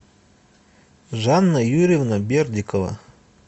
жанна юрьевна бердикова